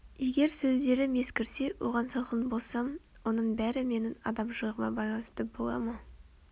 егер сөздерім ескірсе оған салқын болсам оның бәрі менің адамшылығыма байланысты бола ма